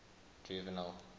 juvenal